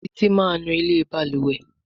Titi má nú ilé balùwẹ̀.